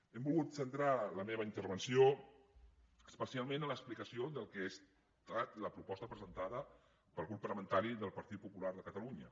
he volgut centrar la meva intervenció especialment en l’explicació del que ha estat la proposta presentada pel grup parlamentari del partit popular de catalunya